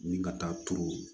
Ni ka taa turu